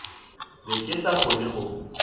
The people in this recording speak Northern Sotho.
be ke sa kgone go